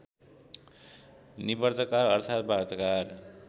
निवार्ताकार अर्थात् वार्ताकार